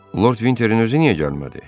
Lord Vinterin özü niyə gəlmədi?